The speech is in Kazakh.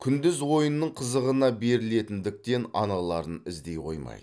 күндіз ойынның қызығына берілетіндіктен аналарын іздей қоймайды